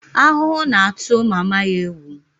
Ahuhu na-atụ mama ya egwu